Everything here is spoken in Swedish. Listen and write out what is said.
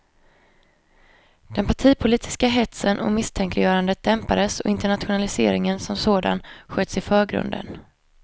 Den partipolitiska hetsen och misstänkliggörandet dämpades och internationaliseringen som sådan sköts i förgrunden.